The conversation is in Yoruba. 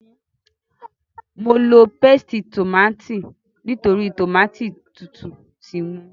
Mo lo pésìtì tòmátì nítorí tòmátì tútù ti wọ́n.